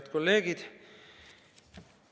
Head kolleegid!